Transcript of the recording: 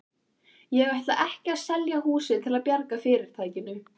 Ég ætla ekki að selja húsið til að bjarga fyrirtækinu.